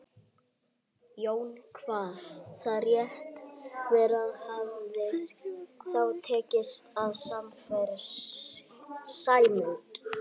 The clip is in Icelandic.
Jón kvað það rétt vera og hafði þá tekist að sannfæra Sæmund.